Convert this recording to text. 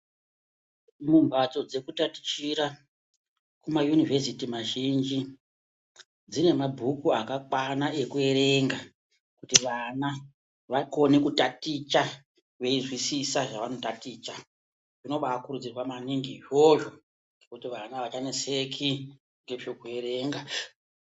Mumbatso dzekutatichira, mumaunivhesiti mazhinji, dzine mabhuku akakwana ekuerenga, kuti vana vakone kutaticha, veyizwisisa zvavanotaticha, zvinobaakurudzirwa maningi izvozvo, kuti vana avachaneseki ngezvekuerenga.